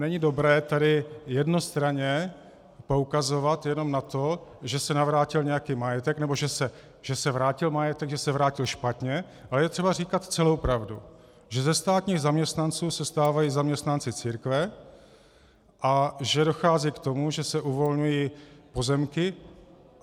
Není dobré tady jednostranně poukazovat jenom na to, že se navrátil nějaký majetek, nebo že se vrátil majetek, že se vrátil špatně, ale je třeba říkat celou pravdu, že ze státních zaměstnanců se stávají zaměstnanci církve a že dochází k tomu, že se uvolňují pozemky.